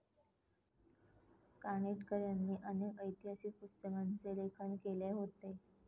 कानिटकर यांनी अनेक ऐतिहासिक पुस्तकांचे लेखन केले होते.